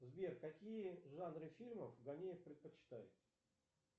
сбер какие жанры фильмов ганеев предпочитает